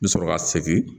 N bɛ sɔrɔ ka segin